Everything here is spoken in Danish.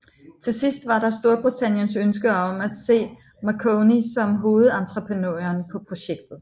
Til sidst var der Storbritanniens ønske om at se Marconi som hovedentreprenøren på projektet